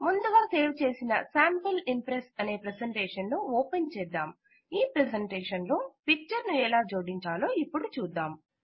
ముందుగా సేవ్ చేసిన sample Impress అనే ప్రెసెంటేషన్ ను ఓపెన్ చేద్దాం ఈ ప్రెజెంటేషన్ లో పిక్చర్ ను ఎలా జోడించాలో ఇపుడు చూద్దాం